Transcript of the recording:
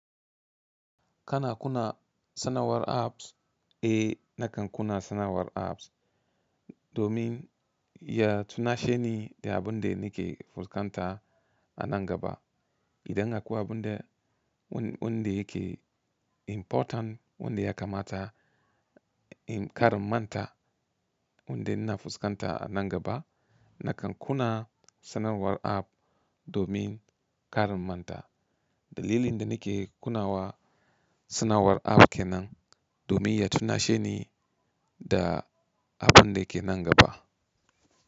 Kana kuna sanawar apps? Eh nakan kuna sanawar apps domin ya tuna sheni da abun da nike fuskanta a nan gaba. Idan aƙwai abun da wanda yake important wanda ya kamata in kar immanta, wanda ina fuskanta a nan gaba nakan kuna sanarwar app domin kar immanta. Dalilan da nake kunnawa sanarwa app kenan, domin ya tunasheni da abun dake nan gaba.